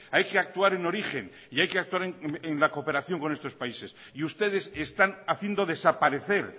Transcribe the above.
hay que actuar en origen y hay que actuar en la cooperación con estos países y ustedes están haciendo desaparecer